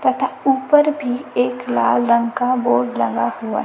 तथा ऊपर भी एक लाल रंग का बोर्ड लगा हुआ--